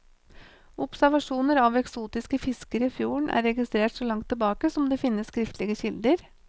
Observasjoner av eksotiske fisker i fjorden er registrert så langt tilbake som det finnes skriftlige kilder.